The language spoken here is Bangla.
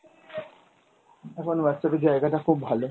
এখন Whatsapp এর জায়গাটা খুব ভালো।